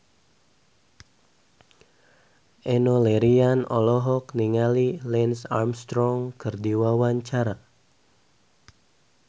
Enno Lerian olohok ningali Lance Armstrong keur diwawancara